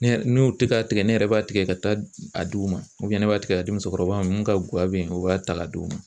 Ne yɛrɛ n'u ti ka tigɛ ne yɛrɛ b'a tigɛ ka taa a d'u ma ne b'a tigɛ ka di musokɔrɔba min ka guwa be yen o b'a ta ka d'u ma.